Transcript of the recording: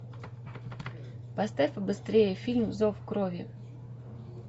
поставь побыстрее фильм зов крови